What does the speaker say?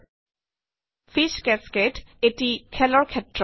fees cascade fish cascade - এটি খেলৰ ক্ষেত্ৰ